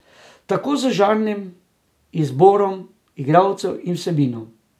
Tako z žanri, izborom igralcev in vsebino.